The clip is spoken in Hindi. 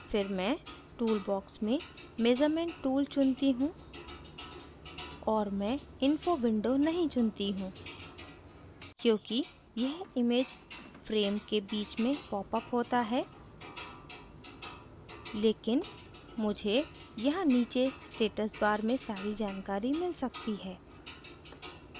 फिर मैं tool बॉक्स में measurement tool चुनती हूँ और मैं info window नहीं चुनती हूँ क्योंकि यह image frame के बीच में popsअप होता है लेकिन मुझे यहाँ नीचे status bar में सारी जानकारी मिल सकती है